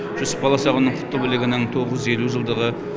жүсіп баласағұнның құтты білігінің тоғыз жүз елу жылдығы